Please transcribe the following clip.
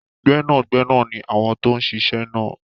Gbẹ́nàgbẹnà ni àwọn tó ń se isẹ́ náà.